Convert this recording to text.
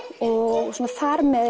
og þar með